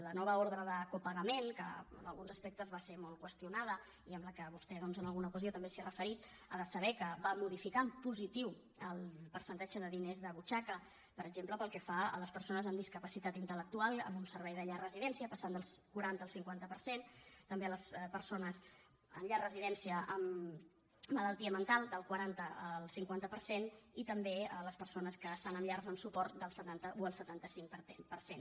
la nova ordre de copagament que en alguns aspectes va ser molt qüestionada i a la qual vostè en alguna ocasió també s’ha referit ha de saber que va modificar en positiu el percentatge de diners de butxaca per exemple pel que fa a les persones amb discapacitat intel·del quaranta al cinquanta per cent també a les persones en llar residència amb malaltia mental del quaranta al cinquanta per cent i també a les persones que estan en llars amb suport del setanta o el setanta cinc per cent